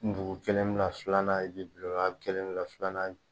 Dugu kelen filanan kelen filanan ye